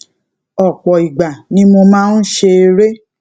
òpò ìgbà ni mo máa ń ṣe eré